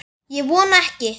Ég vona ekki